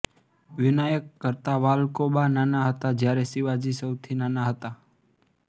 વિનાયક કરતાં વાલ્કોબા નાના હતા જ્યારે શિવાજી સૌથી નાના હતા